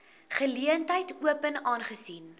geleentheid open aangesien